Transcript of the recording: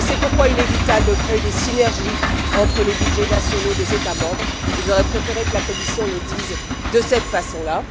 C'est pourquoi il est vital de créer des synergies entre les budgets nationaux des États membres j'aurais préféré que la Commission le dise de cette façon là